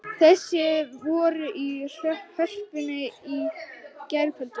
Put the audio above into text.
Þessir voru í Hörpunni í gærkvöldi